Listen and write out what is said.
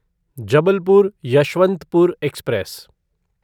Jabalpur Yesvantpur express